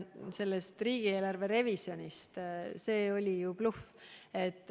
See jutt riigieelarve revisjonist oli bluff.